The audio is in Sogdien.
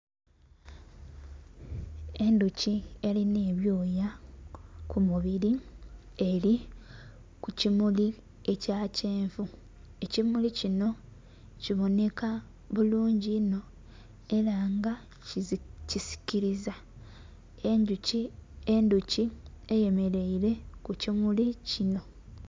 Endhoki erinha ebyoya ku mubiri, eri ku kimuli ekya kyenvu. Ekimuli kinho kibonheka bulungi inho era nga kisikiliza. Endhoki eyemereire ku kimuli kinho.